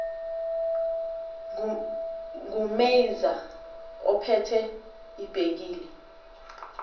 ngumeazi ophethe ibhekile